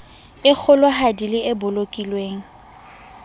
e kgolohadi le e bolokilweng